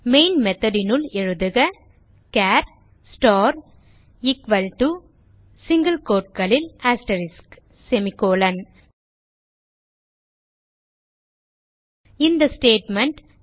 main method னுள் எழுதுக char star equal to single quoteகளில் அஸ்டெரிஸ்க் இந்த ஸ்டேட்மெண்ட்